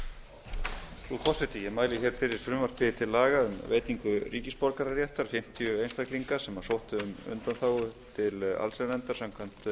frú forseti ég mæli fyrir frumvarpi til laga um veitingu ríkisborgararéttar fimmtíu einstaklinga sem sóttu um undanþágu til allsherjarnefndar samkvæmt